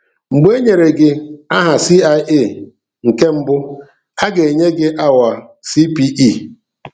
Mgbe e nyere gị aha CIA nke mbụ, a ga-enye gị awa CPE.